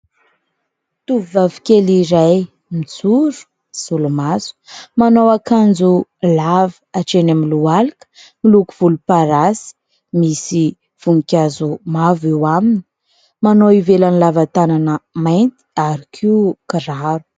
Tovovavy kely iray mijoro, misolomaso, manao akanjo lava hatreny amin'ny lohalika, miloko volomparasy. Misy voninkazo mavo eo aminy. Manao ivelany lava tanana mainty ary koa kiraro.